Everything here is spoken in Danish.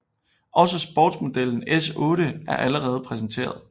Også sportsmodellen S8 er allerede præsenteret